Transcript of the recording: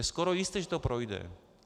Je skoro jisté, že to projde.